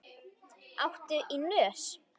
Áttu í nös?